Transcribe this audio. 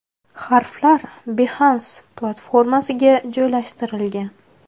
Harflar Behance platformasiga joylashtirilgan.